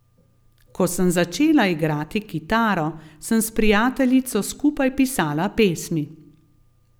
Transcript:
Ko sem začela igrati kitaro, sem s prijateljico skupaj pisala pesmi.